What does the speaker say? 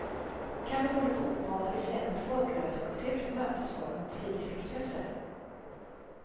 Kanske beror det på ovana vid svensk folkrörelsekultur, mötesformer och politiska processer.